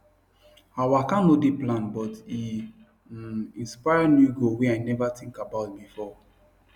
her waka no dey planned but e um inspire new goal wey i never think about before